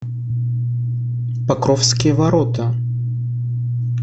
покровские ворота